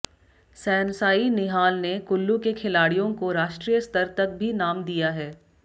सैनसाई निहाल ने कुल्लू के खिलाडि़यों को राष्ट्रीय स्तर तक भी नाम दिया है